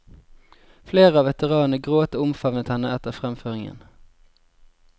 Flere av veteranene gråt og omfavnet henne etter fremføringen.